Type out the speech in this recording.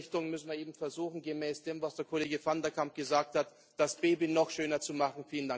In dieser Richtung müssen wir eben versuchen, gemäß dem, was der Kollege van de Camp gesagt hat, das Baby noch schöner zu machen.